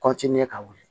ka wuli